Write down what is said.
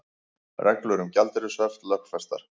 Reglur um gjaldeyrishöft lögfestar